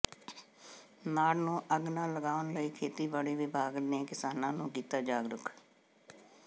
ਨਾੜ ਨੂੰ ਅੱਗ ਨਾ ਲਗਾਉਣ ਲਈ ਖੇਤੀਬਾੜੀ ਵਿਭਾਗ ਨੇ ਕਿਸਾਨਾਂ ਨੂੰ ਕੀਤਾ ਜਾਗਰੂਕ